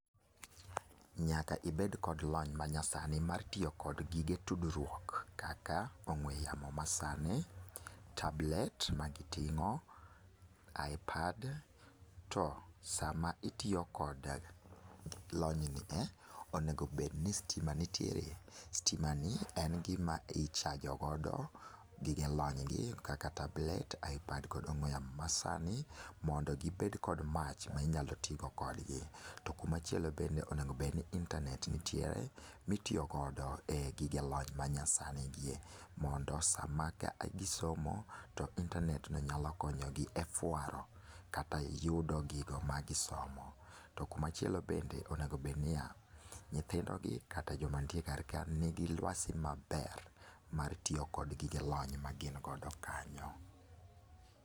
Nyaka ibed kod lony manyasani mar tiyo kod gige tudruok kaka ong'ue yamo masani, tablet magiting'o, ipad to sama itiyo koda lony nie, onego bed ni stima nitiere. Stimani en gima i chajogodo gige lony gie kaka tablet, ipad kod ong'ue yamo masani mondo gibed kod mach minyalo tigo kodgi. To kumachielobende onego bed ni intanet nitiere mitiyogodo e gige lony manyasanigie mondo sama gisomo to intanet no nyalo konyogi e fuaro kata yudo gigo magisomo. To kumachielo bende onego bed niya, nyithindogi kata joma nitie karka nigi luasi maber mar tiyo kod gigelony magin go kanyo.